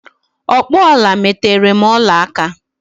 Ọkpụ ọla meterem ọla aka!